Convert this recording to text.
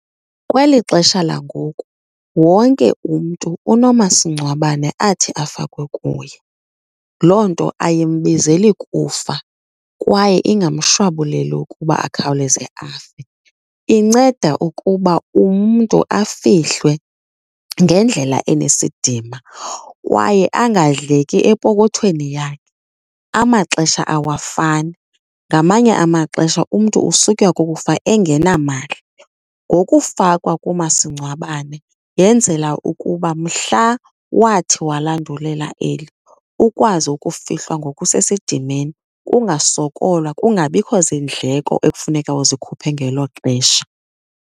Kweli xesha langoku wonke umntu unomasingcwabane athi afakwe kuye. Loo nto ayimbizeli kufa kwaye ingamshwabuleli ukuba akhawuleze afe. Inceda ukuba umntu afihlwe ngendlela enesidima kwaye angadleki epokothweni yakhe. Amaxesha awafani, ngamanye amaxesha umntu usutywa kukufa engenamali. Ngokufakwa kumasingcwabane yenzela ukuba mhla wathi walandulela eli, ukwazi ukufihlwa ngokusesidimeni, kungasokolwa, kungabikho zindleko ekufuneka uzikhuphe ngelo xesha.